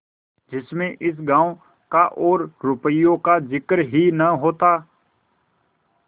जिसमें इस गॉँव का और रुपये का जिक्र ही न होता